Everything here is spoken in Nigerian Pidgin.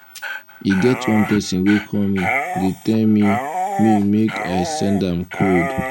e get one person wey call me dey tell me me make i send am code